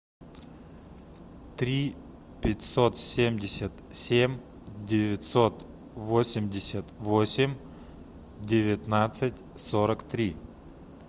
три пятьсот семьдесят семь девятьсот восемьдесят восемь девятнадцать сорок три